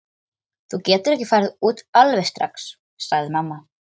Þú getur ekki farið út alveg strax, sagði mamma.